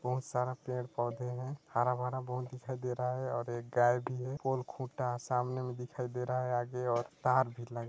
बहुत सारा पेड़-पौधे हैं हरा-भरा बहुत दिखाई देरा है और एक गाय भी है और खूटा सामने में दिखाई दे रहा है आगे और तार भी लग--